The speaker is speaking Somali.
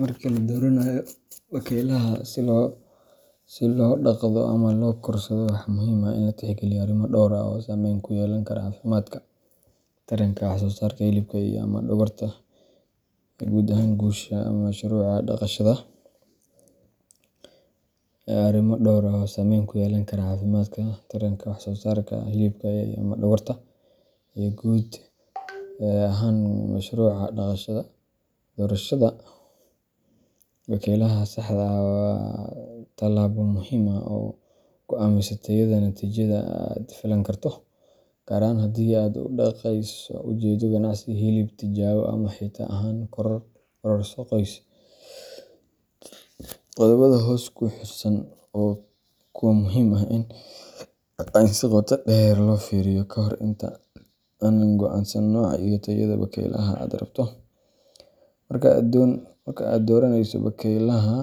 Marka la dooranayo bakaylaha si loo dhaqdo ama loo korsado, waxaa muhiim ah in la tixgeliyo arrimo dhowr ah oo saamayn ku yeelan kara caafimaadka, taranka, wax-soo-saarka hilibka ama dhogorta, iyo guud ahaan guusha mashruuca dhaqashada. Doorashada bakaylaha saxda ah waa tallaabo muhiim ah oo go’aamisa tayada natiijada aad filan karto, gaar ahaan haddii aad u dhaqayso ujeeddo ganacsi, hilib, tijaabo, ama xitaa ahaan kororso qoys. Qodobbada hoos ku xusan waa kuwo muhiim ah in si qoto dheer loo fiiriyo ka hor inta aadan go’aansan nooca iyo tayada bakaylaha aad rabto. Marka aad dooranayso bakaylaha,